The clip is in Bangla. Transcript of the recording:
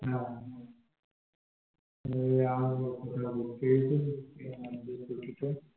তুই আরও কোথায় গিয়েছিলি, পুরী তে?